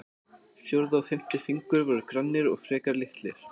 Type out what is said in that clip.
Fjórði og fimmti fingur voru grannir og frekar litlir.